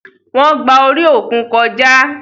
Wọn gbà orí òkun kọjá